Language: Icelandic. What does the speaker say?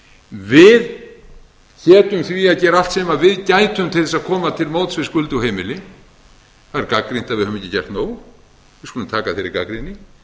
við hétum því að gera allt sem við gætum til þess að fram til móts við skuldug heimili það er gagnrýnt að við höfum ekki gert nóg við skulum taka þeirri gagnrýni